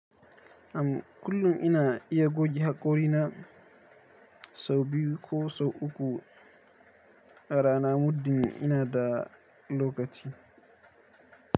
Am kullum ina iya goge haƙorina sau biyu ko sau uku arana mudin ina da lokaci.